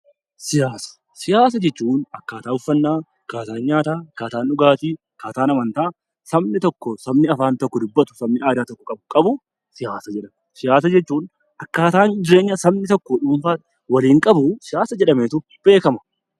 Siyaasa jechuun akkaataa uffannaa, akkaataa dhugaatii, akkaataa amantaa sabni tokko sabni afaan tokko sabni aadaa tokko qabu siyaasa jedhama. Akkaataa sabni hawaasni tokko dhuunfaatti waliin qabu siyaasa jedhama.